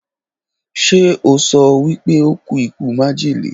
Ṣe ọ so wípé ó kù ikú májèlé